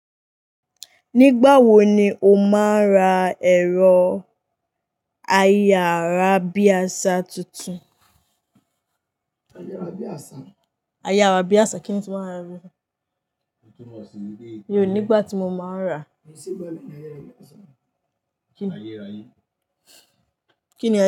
Nígbà wo ni o máa ń ra ẹ̀rọ ayárábiàsà tuntun? Ayárábiàsà kí ni tun mo re? Nígbà tí mo máa rà. Kí ni ayárábiàsà?